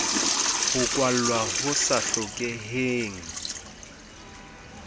ho kwalwa ho sa hlokeheng